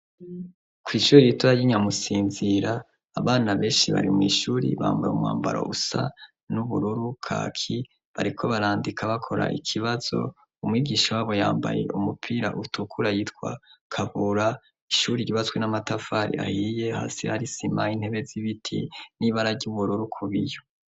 Kw'ishuri ritoya ry'i Nyamusinzira abana benshi bari mw'ishuri bambaye umwambaro usa n'ubururu, kaki, bariko barandika bakora ikibazo, umwigisha wabo yambaye umupira utukura yitwa Kabura, ishuri ryubatswe n'amatafari ahiye, hasi hari isima intebe z'ibiti n'ibara ry'ubururu ku biyo.